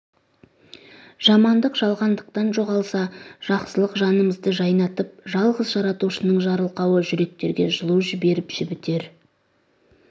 жамандық жалғандықпен жоғалса жақсылық жанымызды жайнатып жалғыз жаратушының жарылқауы жүректерге жылу жіберіп жібітер